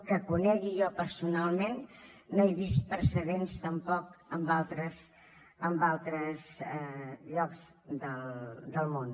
que ho conegui jo personalment no he vist precedents tampoc en altres llocs del món